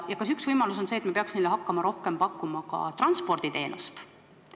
Kas üks võimalus saaks olla see, et me hakkama pakkuma neile rohkem transporditeenust.